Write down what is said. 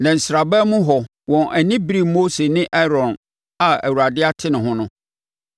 Na nsraban mu hɔ wɔn ani beree Mose ne Aaron a Awurade ate ne ho no.